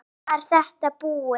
Þá var þetta búið.